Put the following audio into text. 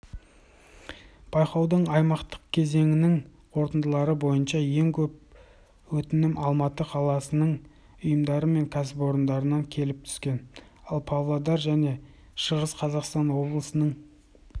байқаудың аймақтық кезеңінің қорытындылары бойынша ең көп өтінім алматы қаласының ұйымдары мен кәсіпорындарынан келіп түскен ал павлодар және шығыс қазақстан облыстарының